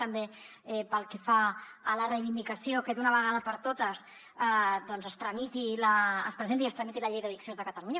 també pel que fa a la reivindicació que d’una vegada per totes doncs es tramiti es presenti i es tramiti la llei d’addiccions de catalunya